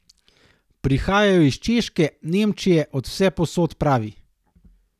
Prihajajo iz Češke, Nemčije, od vsepovsod, pravi.